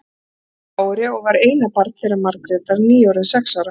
Hann hét Kári og var eina barn þeirra Margrétar, nýorðinn sex ára.